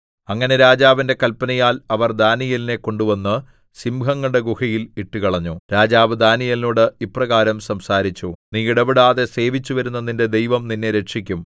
അങ്ങനെ രാജാവിന്റെ കല്പനയാൽ അവർ ദാനീയേലിനെ കൊണ്ടുവന്ന് സിംഹങ്ങളുടെ ഗുഹയിൽ ഇട്ടുകളഞ്ഞു രാജാവ് ദാനീയേലിനോട് ഇപ്രകാരം സംസാരിച്ചു നീ ഇടവിടാതെ സേവിച്ചുവരുന്ന നിന്റെ ദൈവം നിന്നെ രക്ഷിക്കും